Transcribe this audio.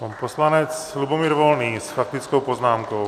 Pan poslanec Lubomír Volný s faktickou poznámkou.